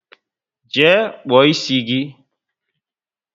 Jee kpuo ịsị gị!